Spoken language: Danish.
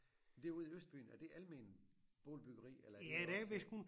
Derude i Østbyen er det alment boligbyggeri eller er det også?